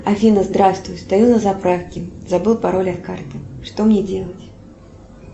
афина здравствуй стою на заправке забыла пароль от карты что мне делать